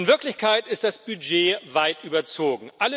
In Wirklichkeit ist das Budget weit überzogen.